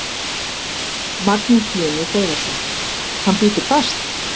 Magnús Hlynur Hreiðarsson: Hann bítur fast?